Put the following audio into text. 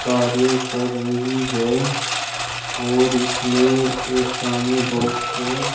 कार्य कर रही है और इसमें एक सामने बॉक्स है।